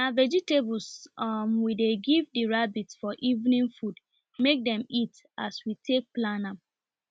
na vegetables um we dey give the rabbits for evening food make dem eat as we take plan am